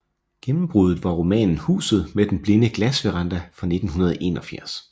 Gennembruddet var romanen Huset med den blinde glassveranda fra 1981